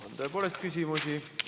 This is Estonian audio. On tõepoolest küsimusi.